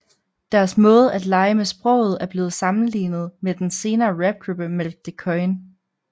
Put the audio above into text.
Deres måde at lege med sproget er blevet sammenlignet med den senere rapgruppe Malk de Koijn